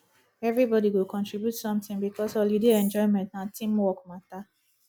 everybody go contribute something because holiday enjoyment na team work matter